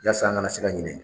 Yasa, an kana se ka ɲinɛ.